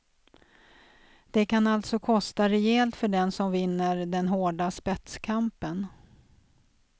Det kan alltså kosta rejält för den som vinner den hårda spetskampen.